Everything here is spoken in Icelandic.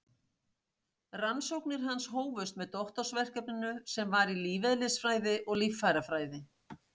Rannsóknir hans hófust með doktorsverkefninu sem var í lífeðlisfræði og líffærafræði.